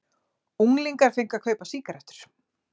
Unglingar fengu að kaupa sígarettur